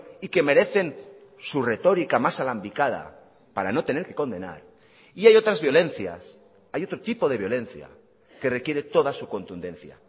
y que merecen su retórica más alambicada para no tener que condenar y hay otras violencias hay otro tipo de violencia que requiere toda su contundencia